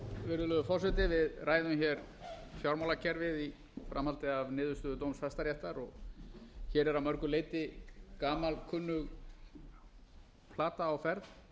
virðulegur forseti við ræðum hér fjármálakerfið í framhaldi af niðurstöðu dóms hæstaréttar hér er að mörgu leyti gamalkunnug plata á ferð